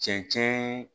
Cɛncɛn